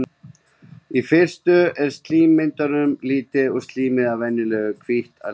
Í fyrstu er slímmyndun lítil og slímið er þá venjulega hvítt að lit.